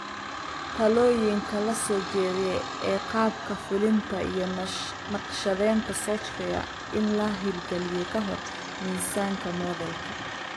Talooyinka la soo jeediyay ee qaabka fulinta iyo naqshadaynta software-in la hirgeliyo ka hor miisaanka moodeelka.